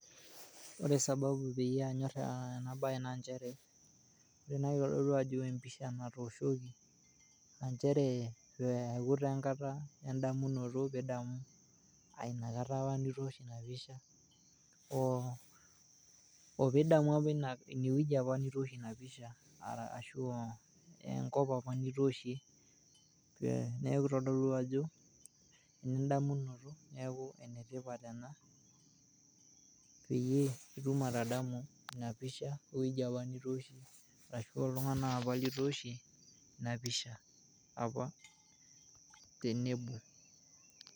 ore sababu pee anyor ena siaai naa kadol ajo empisha natooshoki nchere adamu taa engata aainakata nitoosho ina pisha, pii idamu apa ineweji netooshieki ina pisha enkop apa nitooshie neeku kitodolu ajo , pee itum atadamu eweji apa nitooshie inapisha.